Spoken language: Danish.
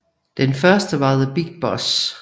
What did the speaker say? Den første var The Big Boss